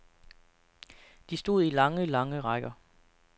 De stod i lange, lange rækker.